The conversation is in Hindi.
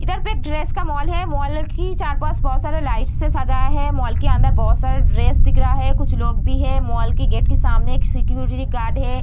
इधर पे एक ड्रेस का मॉल है। मॉल की चार-पांच बहुत सारे लाइट्स से सजाया है। मॉल के अंदर बहुत सारा ड्रेस दिख रहा है। कुछ लोग भी है। मॉल के गेट के सामने एक सिक्योरिटी गार्ड है।